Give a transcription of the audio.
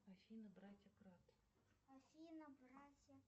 афина братья кратт